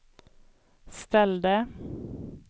ställde